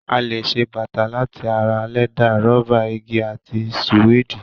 A lè ṣe bàtà láti ara lẹ́dà, rọ́bà, igi àti sùwéèdì.